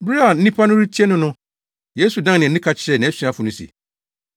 Bere a nnipa no retie no no, Yesu dan nʼani ka kyerɛɛ nʼasuafo no se,